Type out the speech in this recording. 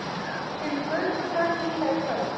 Kemur Gaukur þá ekki hingað í kvöld?